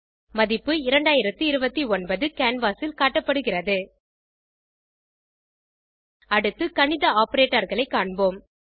மதிப்பு 2029 கேன்வாஸ் ல் காட்டப்படுகிறது அடுத்து கணித Operatorகளை காண்போம்